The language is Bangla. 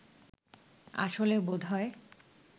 আসলে বোধহয়